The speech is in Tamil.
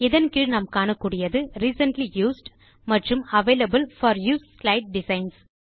இதன் கீழ் நாம் காணக்கூடியது ரிசென்ட்லி யூஸ்ட் மற்றும் available for use slide designs